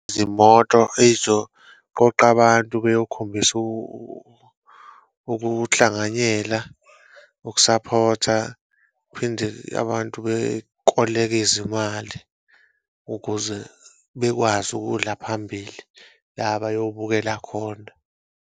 Izimoto ey'zoqoqa abantu beyokhombisa ukuhlanganyela, ukusaphotha, phinde abantu bekoleke izimali ukuze bekwazi ukudla phambili la abayobukela khona.